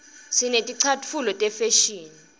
sineticatfulo tefashini